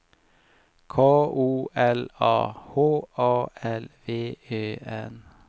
K O L A H A L V Ö N